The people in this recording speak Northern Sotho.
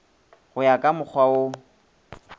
go ya ka mokgwa wo